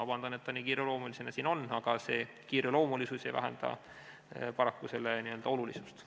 Vabandust, et ta nii kiireloomulisena siin on, aga kiireloomulisus ei vähenda paraku selle olulisust.